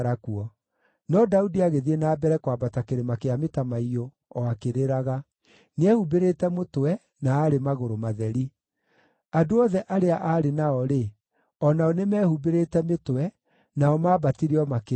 No Daudi agĩthiĩ na mbere kwambata kĩrĩma kĩa mĩtamaiyũ, o akĩrĩraga; nĩehumbĩrĩte mũtwe, na aarĩ magũrũ matheri. Andũ othe arĩa aarĩ nao-rĩ, o nao nĩmehumbĩrĩte mĩtwe, nao maambatire o makĩrĩraga.